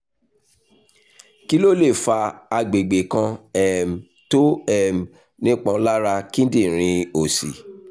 kí ló lè fa àgbègbè kan um tó um nípọn lára kíndìnrín òsì?